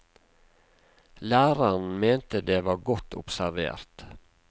Læreren mente det var godt observert.